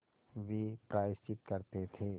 वे प्रायश्चित करते थे